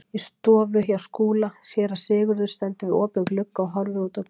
Í stofu hjá Skúla: Séra Sigurður stendur við opinn glugga og horfir út á götuna.